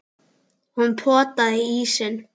Hún potaði í ísinn.